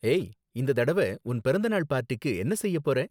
ஏய், இந்த தடவ உன் பிறந்த நாள் பார்ட்டிக்கு என்ன செய்ய போறே?